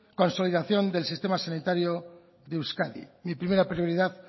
consolidación del sistema sanitario de euskadi mi primera prioridad